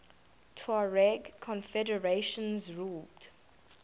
tuareg confederations ruled